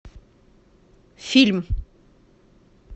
фильм